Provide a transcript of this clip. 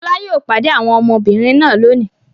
Fọlá yóò pade àwọn ọmọbìnrin náà lónìí!